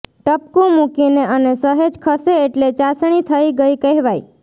ટપકું મૂકીને અને સહેજ ખસે એટલે ચાસણી થઈ ગઈ કહેવાય